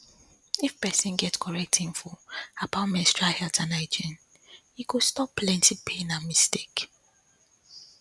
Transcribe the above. if person get correct info about menstrual health and hygiene e go stop plenty pain and mistake